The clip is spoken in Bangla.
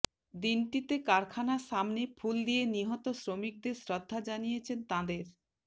দিনটিতে কারখানার সামনে ফুল দিয়ে নিহত শ্রমিকদের শ্রদ্ধা জানিয়েছেন তাঁদের